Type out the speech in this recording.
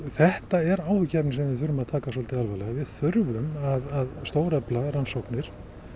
þetta er áhyggjuefni sem við þurfum að taka svolítið alvarlega við þurfum að stórefla rannsóknir